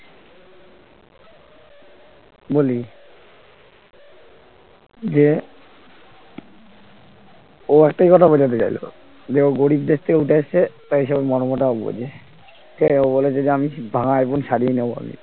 বলি যে ও একটাই কথা বোঝাতে চাইলো যেও গরিব দেশ থেকে উঠে এসছে তাই এসবের মর্মটাও বোঝে সে ও বলেছে যে আমি ভাঙা iphone সাড়িয়ে নেব আমি